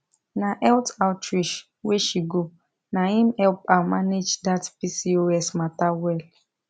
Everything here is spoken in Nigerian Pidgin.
na health outreach wey she go na him help her manage that pcos matter well